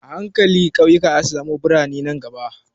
A hankali ƙauyuka zasu koma biranai nan gaba.